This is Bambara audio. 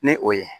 Ni o ye